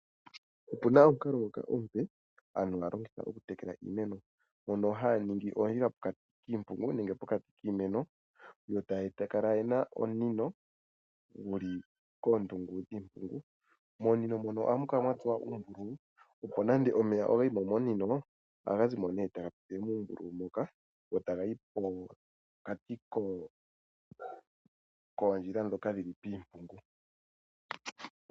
Opuna omukalo ngoka omupe aantu haya longitha oku tekela iimeno mono haya ningi oondjila pokati kiimpungu nenge pokati kiimeno ye ta kala ena omunino guli koondungu dhiimpungu, momunino mono ohamu kala mwa tsuwa uumbululu, opo nande omeya ogayi mo momunino ohaga zi mo nee taga pitile muumbululu muka go taga yi pokati koondjila ndhoka dhili piimpungu.